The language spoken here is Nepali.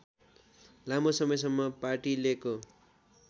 लामो समयसम्म पार्टीलेको